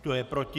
Kdo je proti?